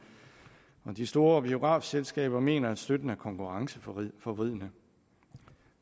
de store biografselskaber mener at støtten er konkurrenceforvridende